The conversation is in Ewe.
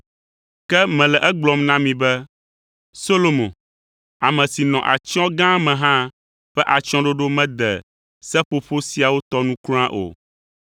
Ke mele egblɔm na mi be Solomo, ame si nɔ atsyɔ̃ gã me hã ƒe atsyɔ̃ɖoɖo mede seƒoƒo siawo tɔ nu kura o.